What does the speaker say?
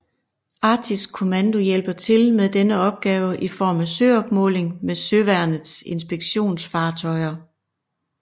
Arktisk Kommando hjælper til med denne opgave i form af søopmåling med Søværnets inspektionsfartøjer